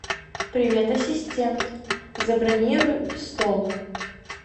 привет ассистент забронируй стол